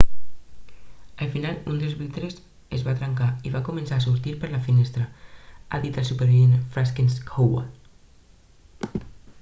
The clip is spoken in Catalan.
al final un dels vidres es va trencar i van començar a sortir per la finestra ha dit el supervivent franciszek kowal